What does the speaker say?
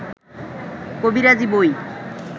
কবিরাজি বই